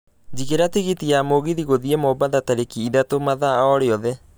jigĩra tigiti wa mũgithi gũthiĩ mombatha tarĩki ithatũ mathaa o rĩothe